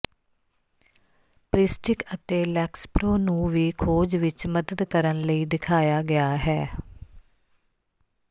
Pristiq ਅਤੇ Lexapro ਨੂੰ ਵੀ ਖੋਜ ਵਿੱਚ ਮਦਦ ਕਰਨ ਲਈ ਦਿਖਾਇਆ ਗਿਆ ਹੈ